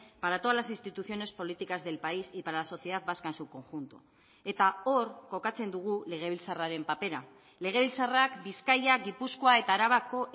para todas las instituciones políticas del país y para la sociedad vasca en su conjunto eta hor kokatzen dugu legebiltzarraren papera legebiltzarrak bizkaia gipuzkoa eta arabako